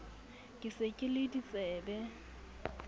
ke se ke le ditsebe